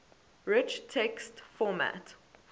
rich text format